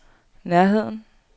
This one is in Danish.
nærheden